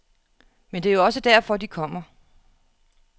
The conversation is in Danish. Men det er jo også derfor, de kommer.